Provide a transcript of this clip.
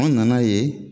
An nana ye